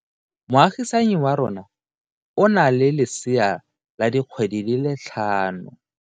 Moagisane wa rona o na le lesea la dikgwedi tse tlhano.